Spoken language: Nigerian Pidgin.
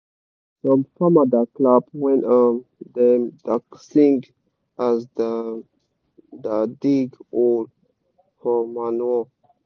some farma da clapp when um dem da sing as dem da dig whole for manure